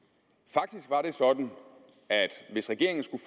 faktisk var det sådan at hvis regeringen skulle